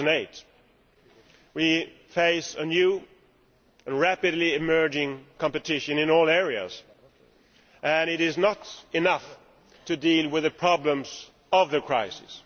2008. We face new and rapidly emerging competition in all areas and it is not enough to deal with the problems of the crisis.